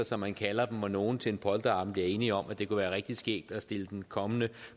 som man kalder dem hvor nogen til en polterabend bliver enige om at det kunne være rigtig skæg at stille den kommende